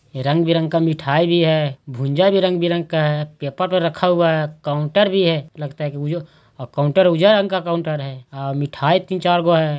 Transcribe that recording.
रंग बिरंग का मिठाई भी है भूंजा भी रंग-बिरंग का है पेपर पर रखा हुआ है काउंटर भी है लगता है उ जो अ काउंटर उज्जर रंग का काउंटर है मिठाई तीन चार गो है।